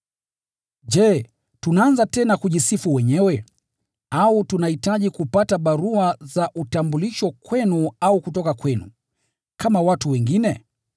Je, tunaanza tena kujisifu wenyewe? Au tunahitaji kupata barua za utambulisho kwenu au kutoka kwenu, kama watu wengine?